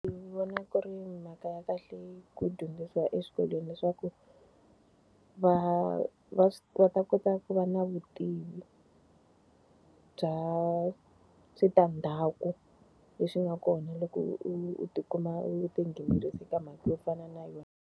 Ndzi vona ku ri mhaka ya kahle ku dyondzisiwa eswikolweni leswaku, va va va ta kota ku va na vutivi bya switandzhaku leswi nga kona loko u u u ti kuma a tinghenelerise ka mhaka yo fana na yona.